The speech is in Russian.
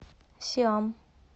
сиам